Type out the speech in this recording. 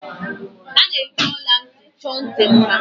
A na-eji ọla ntị chọọ ntị mma.